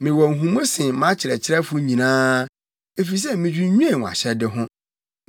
Mewɔ nhumu sen mʼakyerɛkyerɛfo nyinaa, efisɛ midwinnwen wʼahyɛde ho.